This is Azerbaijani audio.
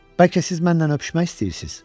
Bəlkə siz məndən öpüşmək istəyirsiz?